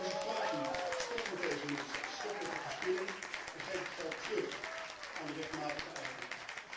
Ik vraag u dan ook stop met deze nonsens, stop met de verspilling en geef het geld terug aan de rechtmatige eigenaar.